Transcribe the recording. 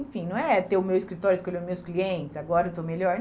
Enfim, não é ter o meu escritório, escolher os meus clientes, agora eu estou melhor.